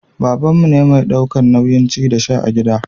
babanmu ne mai daukan nauyin ci da sha a gida